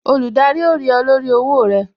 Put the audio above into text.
Olùdarí ó rí ọ lórí owó rẹ